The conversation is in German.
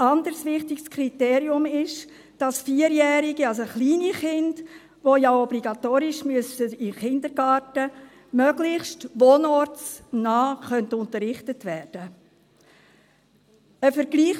Ein anderes wichtiges Kriterium ist, dass Vierjährige, also kleine Kinder, die ja obligatorisch in den Kindergarten müssen, möglichst wohnortsnah unterrichtet werden können.